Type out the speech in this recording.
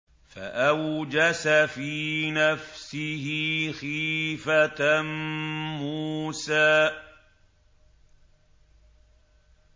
فَأَوْجَسَ فِي نَفْسِهِ خِيفَةً مُّوسَىٰ